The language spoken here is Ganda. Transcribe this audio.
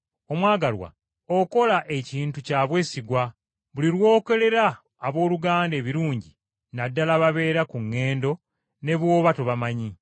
Omwagalwa, okola ekintu kya bwesigwa buli lw’okolera abooluganda ebirungi na ddala ababeera ku ŋŋendo ne bw’oba tobamanyi.